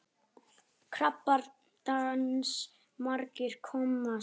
Krappan dans margir komast í.